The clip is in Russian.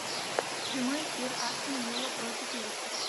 прямой эфир астон вилла против лестер